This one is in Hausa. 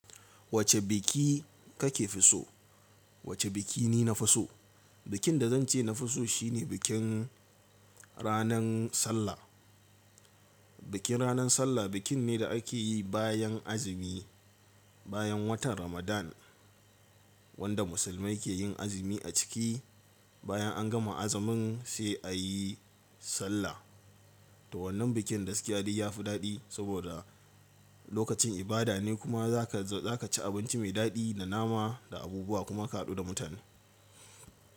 Wace biki kake fiso? Wace biki ni na fi so? Bikin da zan ce na fi so shine bikin ranan Sallah. Bikin ranan Sallah bikin ne da ake yi bayan azumi, bayan watan Ramadan wanda musulmai ke yin azumi a ciki. Bayan an gama azumin sai a yi Sallah. To wannan bikin gaskiya dai ya fi daɗi saboda lokacin ibada ne kuma za ka ci abinci mai daɗi na nama da abubuwa kuma ka haɗu da mutane.